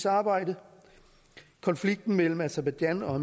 arbejde konflikten mellem aserbajdsjan og